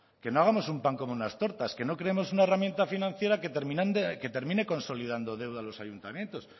que no hagamos un pan como unas tortas que no creemos una herramienta financiera que termine consolidando deuda a los ayuntamientos